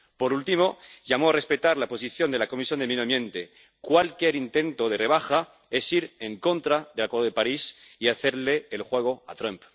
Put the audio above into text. Por último, llamo a respetar la posición de la Comisión de Medio Ambiente cualquier intento de rebaja es ir en contra del Acuerdo de París y hacerle el juego a Trump.